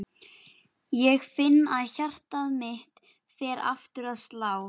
Ég finn að hjarta mitt fer aftur að slá.